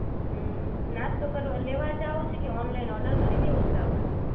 હમ્મ, નાસ્તો કરવા લેવા જવું છે કે ઓનલાઇન ઓર્ડર કરી દેવો છે આપણે